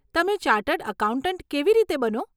તમે chartered accountant કેવી રીતે બનો?